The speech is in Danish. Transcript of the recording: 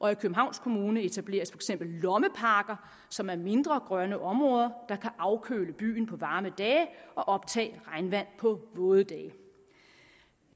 og i københavns kommune etableres for eksempel lommeparker som er mindre grønne områder der kan afkøle byen på varme dage og optage regnvand på våde dage